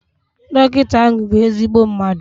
Dọkịta ahụ bụ ezigbo mmadu